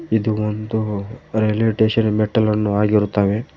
ಇದು ಒಂದು railway station ಮೆಟ್ಟಿಲನ್ನು ಆಗಿರುತ್ತವೆ.